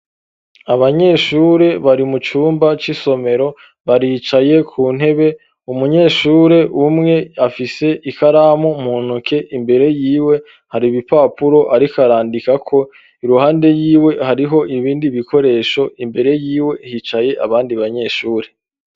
Abanyeshuri bari mu cumba c'isomero, baricaye ku ntebe; umunyeshure umwe afise ikaramu mu ntoke, imbere yiwe hari ibipapuro ariko arandikako; iruhande yiwe hariho ibindi bikoresho, imbere yiwe hicaye abandi banyeshuri.